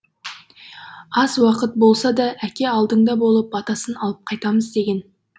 аз уақыт болса да әке алдыңда болып батасын алып қайтамыз деген